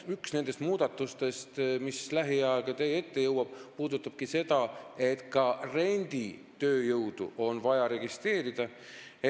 Üks nendest muudatustest, mis lähiajal teie ette jõuab, puudutabki seda, et ka renditööjõudu on vaja registreerida.